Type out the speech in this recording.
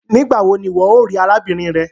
nigbawo ní ìwo o rí arábìnrin rẹ?